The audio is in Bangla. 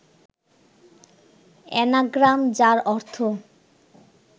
অ্যানাগ্রাম, যার অর্থ